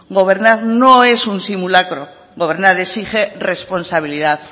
gobernar no es un simulacro gobernar exige responsabilidad